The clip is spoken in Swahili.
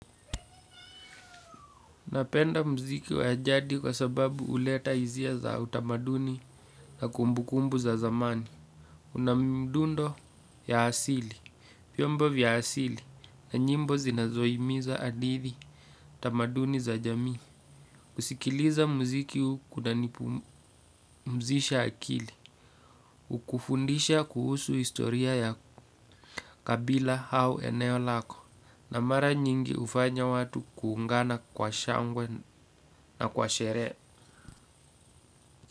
Napenda mziki wa ajadi kwa sababu uleta hisia za utamaduni na kumbukumbu za zamani una mdundo ya asili vyombo vya asili na nyimbo zinazohimiza hadith, i utamaduni za jamii kusikiliza mziki kuna nipumzisha akili. Ukufundisha kuhusu historia ya kabila au eneo lako na mara nyingi ufanya watu kuungana kwa shangwe na kwa sherehe.